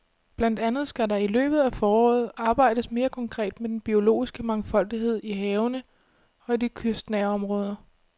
Blandt andet skal der i løbet af foråret arbejdes mere konkret med den biologiske mangfoldighed i havene og i de kystnære områder.